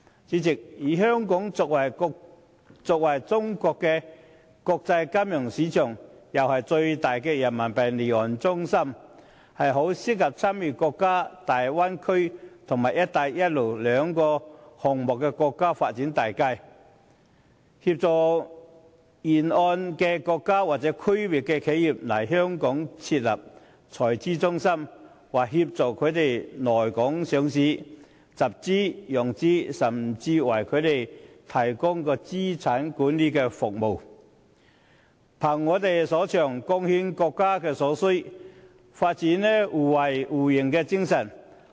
主席，香港作為中國的國際金融中心，又是最大的人民幣離岸中心，很適合參與大灣區及"一帶一路"這兩項國家發展大計，協助沿線國家或區內的企業來港設立財資中心、上市、集資或融資，甚至為他們提供資產管理服務，憑我們所長，貢獻國家所需，發揮互惠互贏的精神。